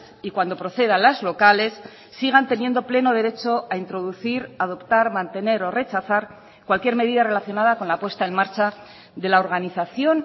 y cuando proceda las locales sigan teniendo pleno derecho a introducir adoptar mantener o rechazar cualquier medida relacionada con la puesta en marcha de la organización